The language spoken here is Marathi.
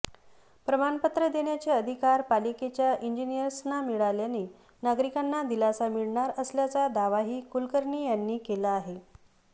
प्रमाणपत्र देण्याचे अधिकार पालिकेच्या इंजिनीअर्सना मिळाल्याने नागरिकांना दिलासा मिळणार असल्याचा दावाही कुलकर्णी यांनी केला आहे